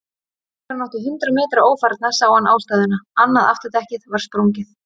Þegar hann átti hundrað metra ófarna sá hann ástæðuna, annað afturdekkið var sprungið.